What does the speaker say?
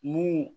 Mun